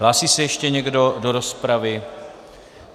Hlásí se ještě někdo do rozpravy?